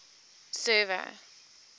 server